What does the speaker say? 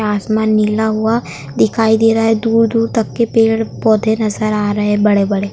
आसमान नीला हुआ दिखाई दे रहा है दूर-दूर तक के पेड़ पौधे नजर आ रहे हैं बड़े-बड़े--